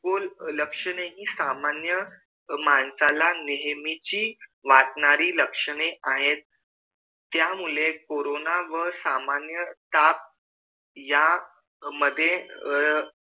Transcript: लक्षणे हि सामान्य माणसाला नेहमीची वाटणारी लक्षणे आहेत त्यामुळे कोरोना व सामान्य ताप यामध्ये अह